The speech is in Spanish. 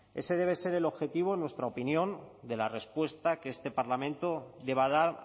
ese debe ser el objetivo en nuestra opinión de la respuesta que este parlamento deba dar